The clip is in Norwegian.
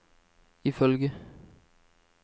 ifølge